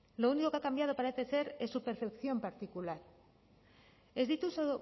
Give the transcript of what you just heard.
lo único que ha cambiado parecer ser es su percepción particular ez dituzu